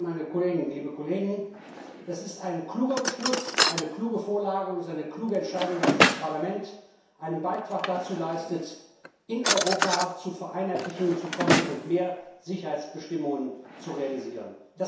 Herr Präsident, Herr Kommissar, liebe Kolleginnen, liebe Kollegen! Das ist ein kluger Beschluss, eine kluge Vorlage, und es ist eine kluge Entscheidung, dass das Parlament einen Beitrag dazu leistet, in Europa zu Vereinheitlichungen zu kommen und mehr Sicherheitsbestimmungen zu realisieren.